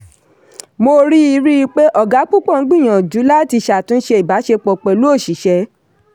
mo rí rí i pé ọ̀ga púpọ̀ ń gbìyànjú láti ṣàtúnṣe ìbáṣepọ̀ pẹ̀lú oṣìṣẹ́.